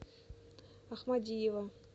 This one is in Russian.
ахмадиева